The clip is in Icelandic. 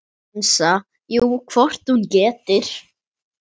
Hansa: Jú, hvort hún getur.